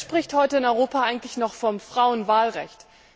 Wer spricht heute in Europa eigentlich noch vom Frauenwahlrecht?